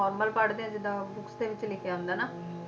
normal ਪੜ੍ਹਦੇ ਆ ਜਿਦਾਂ books ਦੇ ਵਿੱਚ ਲਿਖਿਆ ਹੁੰਦਾ ਹੈ ਨਾ